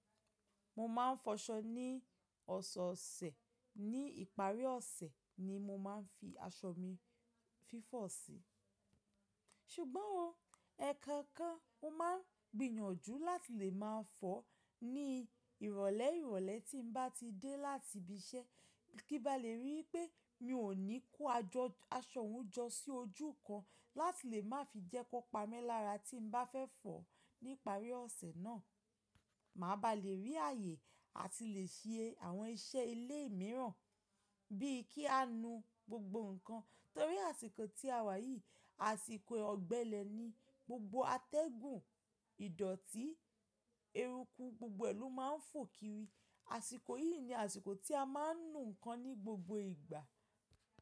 Mo máa ń fọṣọ ní ọ̀sẹ̀ ọ̀sẹ̀, ní ìparí ọ̀sẹ̀ ni mo máa ń fi aṣọ mi fífọ̀ sí. Ṣugbón o, ẹ̀ẹ̀kan kan mo máa n gbìyànjú láti lè máa fọ̀ọ́ ní ìrọ̀lẹ́ ìrọ̀lẹ́ tí n bá ti dé láti ibi iṣẹ́, kí ba lè rí pé mi ò ní kó ajo --aṣọ òun jọ sí ojú kan láti lè má fi jẹ́ kọ pami lára tí n bá fẹ́ fọ̀ọ́ ní ìparí ọ̀sẹ̀ náà. Màá ba lè rí ààyè àti lè ṣe àwọn iṣẹ́ ilé mìíràn, bí i kí á nu gbogbo nǹkan. Tórí àsìkò tí a wà yìí, àsìkò ọ̀gbẹlẹ̀ ni gbogbo atẹ́gùn, ìdọ̀tí, ẹrùkù gbogbo ẹ̀lú máa ń fò kiri. Àsìkò yìí ni àsìkò tí a máa ń nu nǹkan ní gbogbo ìgbà.